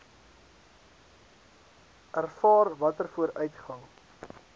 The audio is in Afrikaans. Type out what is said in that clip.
ervaar watter vooruitgang